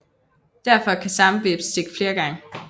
Derfor kan samme hveps stikke flere gange